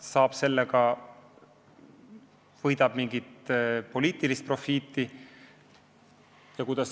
Ja kui ütleb, kas ta lõikab siis mingit poliitilist profiiti?